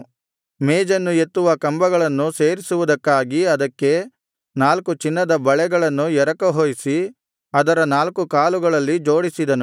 ಮೇಜನ್ನು ಎತ್ತುವ ಕಂಬಗಳನ್ನು ಸೇರಿಸುವುದಕ್ಕಾಗಿ ಅದಕ್ಕೆ ನಾಲ್ಕು ಚಿನ್ನದ ಬಳೆಗಳನ್ನು ಎರಕಹೊಯಿಸಿ ಅದರ ನಾಲ್ಕು ಕಾಲುಗಳಲ್ಲಿ ಜೋಡಿಸಿದನು